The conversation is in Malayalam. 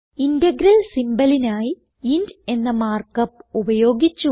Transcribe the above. ഇന്റഗ്രൽ symbolനായി ഇന്റ് എന്ന മാർക്ക് അപ്പ് ഉപയോഗിച്ചു